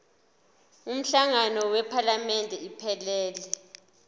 umhlangano wephalamende iphelele